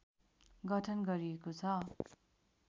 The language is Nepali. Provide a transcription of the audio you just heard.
गठन गरिएको छ